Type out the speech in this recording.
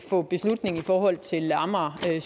få beslutning i forhold til amager